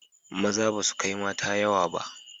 Maza basu kai mata yawa ba